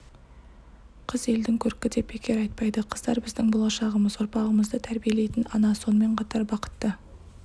қыз елдің көркі деп бекер айтпайды қыздар біздің болашағымыз ұрпағымызды тәрбиелейтін ана сонымен қатар бақытты